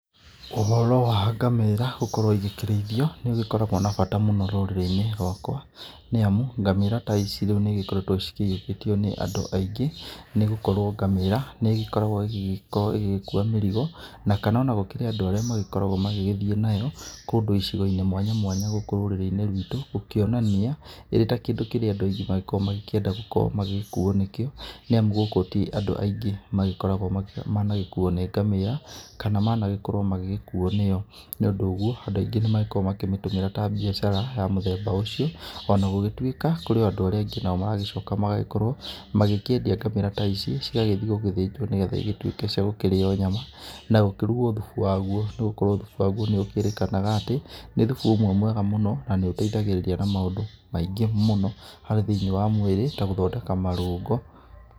Ũhoro wa ngamĩra gũkorwo igĩkĩrĩithio nĩikoragwa na bata mũno rũrĩrĩinĩ rakwa, nĩamu ngamĩra ta ici nĩamu nĩcikoretwe cĩiũkĩtio nĩ andũ aingĩ nĩgũkoragwo ngamĩra nĩigĩkoragwo igĩkua mĩrtigo kana ona gũkĩrĩ ona andũa arĩa magĩgĩthiĩ nayo kũndũ icigoinĩ mwanya mwanya gũkũ rũrĩrĩinĩ rwitũ, gũkĩonania ĩtakĩndũ andũ aingĩ makoragwo magĩgĩkuwo nĩkĩo nĩamu gũkũ ti andũ aingĩ magagĩkorwo managĩkuwa nĩ ngamĩra kana managĩkorwo manakuwo nĩyo nĩũndũ woguo andũ aingĩ nĩmakoragwa makĩmĩtũmĩra ta mbiacara ya mũthemba ũcio ona gũtuĩka kũrĩ andũ arĩa angĩ magĩcoka magagĩkorwo makĩendia ngamĩra ta ici magathii gũthĩnja nĩgetha cigĩtuĩke gũkĩrĩwa nyama na gũkĩrugwo thubu wawo nĩgũkorwo thubu wawo nĩũkĩrĩkanaga atĩ, nĩ thubu umwe mwega mũno na nĩũteithagĩrĩria na maũndũ maingi mũno harĩ thĩinĩ wa mwĩrĩ ta kũthondeka marũngo.